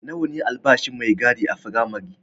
Nawa ne albashin mai gadi a firamare?